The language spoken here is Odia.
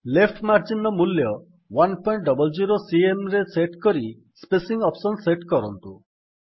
ଲେଫ୍ଟ ମାର୍ଜିନ ର ମୂଲ୍ୟ 100ସିଏମ୍ ରେ ସେଟ୍ କରି ସ୍ପେସିଙ୍ଗ୍ ଅପ୍ସନ୍ ସେଟ୍ କରନ୍ତୁ